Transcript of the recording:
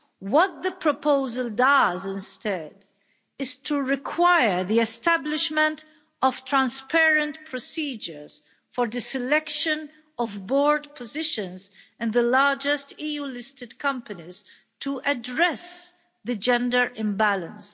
What the proposal does instead is to require the establishment of transparent procedures for the selection of board positions in the largest EU listed companies to address the gender imbalance.